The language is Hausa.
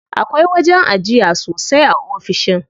Akwai wajen ajiya sosai a ofishin.